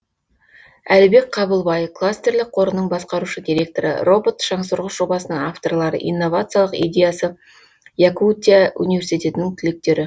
әлібек қабылбай кластерлік қорының басқарушы директоры робот шаңсорғыш жобасының авторлары инновациялық идеясы якутия университетінің түлектері